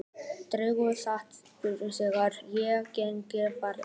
Drengur sat í kjöltu hennar og ekkinn fjaraði út.